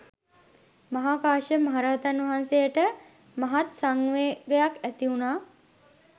මහා කාශ්‍යප මහරහතන් වහන්සේට මහත් සංවේගයක් ඇතිවුනා.